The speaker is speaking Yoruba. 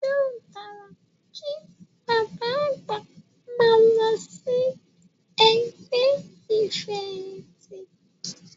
Yóò dára kí bàbá àgbà máa lọ sí ẹgbẹ́ ìfẹ̀yìntì.